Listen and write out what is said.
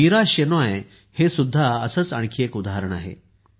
मीरा शेनॉय हे सुद्धा असेच आणखी एक उदाहरण आहे